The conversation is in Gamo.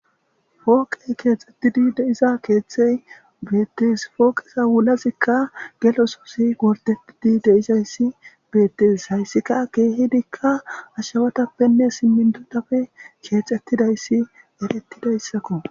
fooqey keexxettidi deiza keeththey beettis pooqiza wulazikka gelosoosi wortetidi deizayssi beettes hayssika keehidikka ashshawatappenne simmindudappe keexettidayssi erettidayssakko